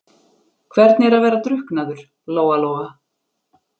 Hvernig er að vera drukknaður, Lóa-Lóa?